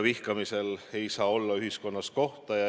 Vihkamisel ei saa olla ühiskonnas kohta.